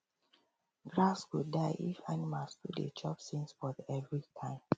grass go die if animals too dey chop same spot every time